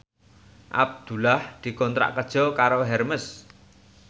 Abdullah dikontrak kerja karo Hermes